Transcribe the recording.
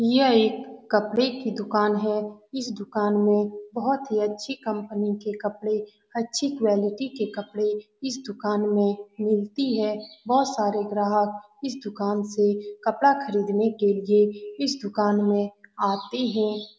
यह एक कपड़े की दुकान है इस दुकान में बहोत ही अच्छी कम्पनी के कपड़े अच्छी क्वालिटी के कपड़े इस दुकान में मिलती है बहोत सारे ग्राहक इस दुकान से कपड़ा खरदीने के लिए इस दुकान में आते हैं।